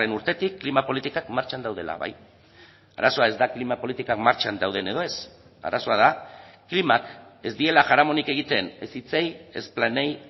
urtetik klima politikak martxan daudela bai arazoa ez da klima politikak martxan dauden edo ez arazoa da klimak ez diela jaramonik egiten ez hitzei ez planei